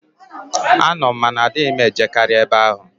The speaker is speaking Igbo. Ano m, ma na adịghị m e jekarị ebe ahụ.